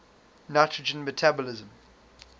nitrogen metabolism